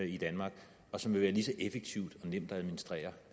i danmark og som vil være lige så effektivt og nemt at administrere